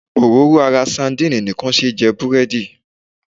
Òróró ara sadíìnì nìkan ṣé jẹ búrẹ́dì.